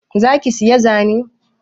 Za ki siya zane?